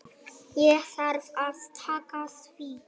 Ég þarf að taka því.